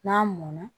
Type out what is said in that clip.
N'a mɔnna